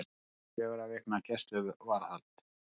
Fjögurra vikna gæsluvarðhald